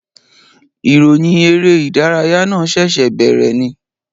Ìròyìn eré ìdárayá náà ṣẹ̀ṣẹ̀ bèèrè ni